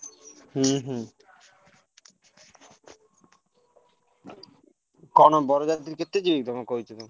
ହୁଁ ହୁଁ। କଣ ବରଯାତ୍ରୀ କେତେ ଯିବେ ତମୁକୁ କହିଛନ୍ତି?